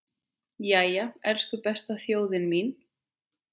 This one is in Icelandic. Jæja, elsku besta þjóðin mín!